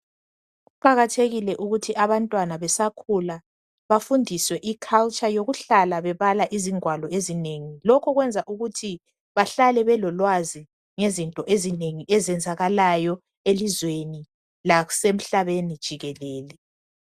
Kuqakathekile ukuthi abantwana besakhula bafundiswe iculture yokuhlala bebala izingwalo ezinengi, lokho kwenza ukuthi bahlale belolwazi ngezinto ezinengi ezenzakalayo elizweni lasemhlabeni jikelele.